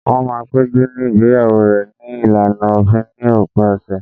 Wọ́n máa péjú ní igbeyawo rẹ̀ ní ìlànà òfin ní òpin ọ̀sẹ̀